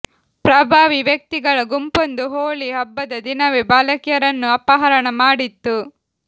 ಪ್ರಭಾವಿ ವ್ಯಕ್ತಿಗಳ ಗುಂಪೊಂದು ಹೋಳಿ ಹಬ್ಬದ ದಿನವೇ ಬಾಲಕಿಯರನ್ನು ಅಪಹರಣ ಮಾಡಿತ್ತು